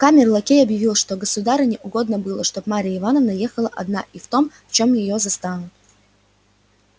камер-лакей объявил что государыне угодно было чтоб марья ивановна ехала одна и в том в чём её застанут